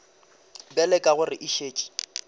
bjale ka gore e šetše